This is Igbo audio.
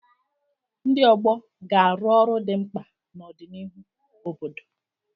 Ndị ọgbọ ga-arụ ọrụ dị mkpa na ọdịnihu obodo.